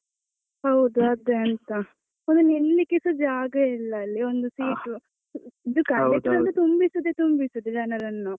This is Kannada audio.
ಹೌದು ಅದೇ ಅಂತ ಒಂದು ನಿಲ್ಲಿಕೆಸಾ ಜಾಗ ಇಲ್ಲ ಅಲ್ಲಿ. ಒಂದು seat conductor ಒಂದು ತುಂಬಿಸುದೇ ತುಂಬಿಸುದು ಜನರನ್ನು.